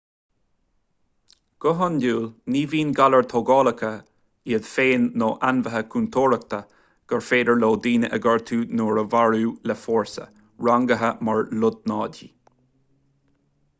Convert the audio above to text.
go hiondúil ní bhíonn galair thógálacha iad féin nó ainmhithe contúirteacha gur féidir leo daoine a ghortú nó a mharú le fórsa rangaithe mar lotnaidí